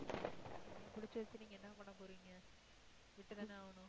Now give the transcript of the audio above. என்ன இப்டி பேசறீங்க என்ன பண்ண போறீங்க விட்டுத்தானே ஆகணும்